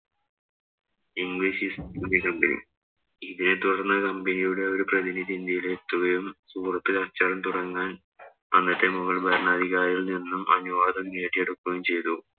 English East India Company ഇതേതുടര്‍ന്ന് company യുടെ ഒരു പ്രതിനിധി ഇന്ത്യയിലെത്തുകയും സൂറത്തില്‍ കച്ചവടം നടത്താന്‍ അന്നത്തെ മുഗള്‍ ഭരണാധികാരിയില്‍ നിന്നും അനുവാദം നേടിയെടുക്കുകയും ചെയ്തു.